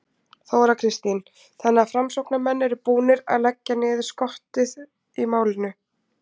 Þóra Kristín: Þannig að framsóknarmenn eru búnir að leggja niður skottið í málinu?